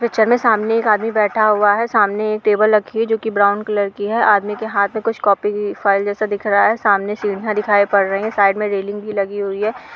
Picture में सामने एक आदमी बैठा हुआ है। सामने एक टेबल रखी हुई है जो कि ब्राउन कलर की है। आदमी के हाथ में कुछ कॉपी की फाइल जैसा दिख रहा है। सामने सीढियां दिखाई पड़ रही हैं। साईड में रेलिंग भी लगी हुई है।